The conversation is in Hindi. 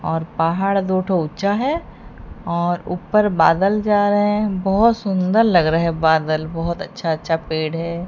और पहाड़ दो ठो ऊंचा है और ऊपर बादल जा रहे हैं बहुत सुंदर लग रहे हैं बादल बहुत अच्छा अच्छा पेड़ है।